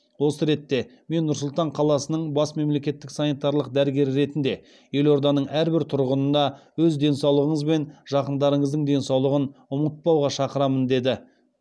осы ретте мен нұр сұлтан қаласының бас мемлекеттік санитарлық дәрігері ретінде елорданың әрбір тұрғынына өз денсаулығыңыз бен жақындарыңыздың денсаулығын ұмытпауға шақырамын деді